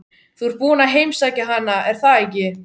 Þú ert búinn að heimsækja hana, er það ekki?